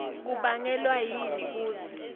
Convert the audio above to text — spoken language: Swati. kubangelwa yini kutsi